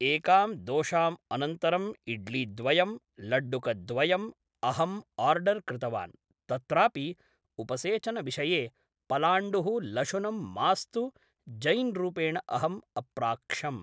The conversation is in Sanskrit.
एकाम् दोशाम् अनन्तरम्‌ इड्लीद्वयं लड्डुकद्वयम् अहम् ओर्डर्‌ कृतवान् तत्रापि उपसेचनविषये पलाण्डुः लशुनं मास्तु जैन् रूपेण अहम् अप्राक्षम्